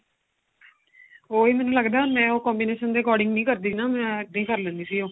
ਉਹੀ ਮੈਨੂੰ ਲੱਗਦਾ ਮੈਂ ਉਹ combination ਦੇ according ਨਹੀਂ ਕਰਦੀ ਨਾ ਮੈਂ ਇੱਦਾ ਹੀ ਕਰ ਲੈਂਦੀ ਸੀ ਉਹ